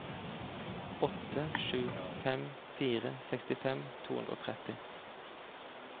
åtte sju fem fire sekstifem to hundre og tretti